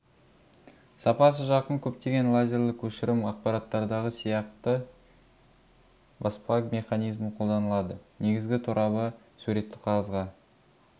сапасы жақын көптеген лазерлі көшірім аппараттардағы сияқты баспа механизмі қолданылады негізгі торабы суретті қағазға